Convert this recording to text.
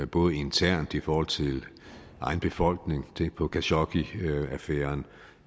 både internt i forhold til egen befolkning tænk på khashoggiaffæren